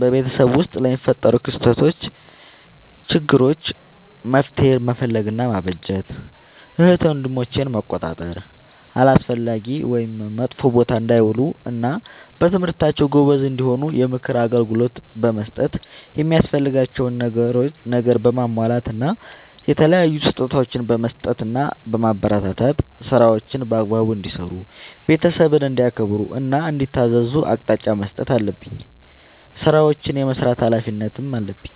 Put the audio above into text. በቤተሰብ ውስጥ ለሚፈጠሩ ክስተቶች ÷ችግሮች መፍትሄ መፈለግ እና ማበጀት ÷ እህት ወንድሞቼን መቆጣጠር አላስፈላጊ ወይም መጥፎ ቦታ እንዳይውሉ እና በትምህርታቸው ጎበዝ እንዲሆኑ የምክር አገልግሎት በመስጠት የሚያስፈልጋቸውን ነገር በማሟላት እና የተለያዩ ስጦታዎችን በመስጠትና በማበረታታት ÷ ስራዎችን በአግባቡ እንዲሰሩ ÷ ቤተሰብን እንዲያከብሩ እና እንዲታዘዙ አቅጣጫ መስጠት አለብኝ። ስራዎችን የመስራት ኃላፊነት አለብኝ።